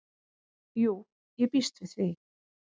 """Jú, ég býst við því"""